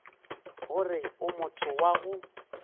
gore o motho wa go